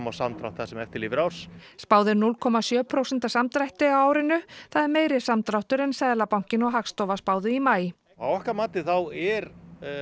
á samdrátt það sem eftir lifir árs spáð er núll komma sjö prósenta samdrætti á árinu það er meiri samdráttur en Seðlabankinn og Hagstofa spáðu í maí að okkar mati þá er